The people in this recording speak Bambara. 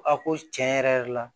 A ko tiɲɛ yɛrɛ yɛrɛ la